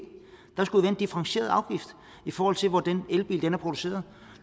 der skulle en differentieret afgift i forhold til hvor den elbil er produceret